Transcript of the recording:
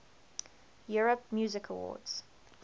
europe music awards